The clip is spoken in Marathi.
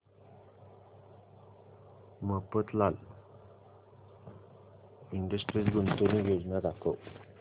मफतलाल इंडस्ट्रीज गुंतवणूक योजना दाखव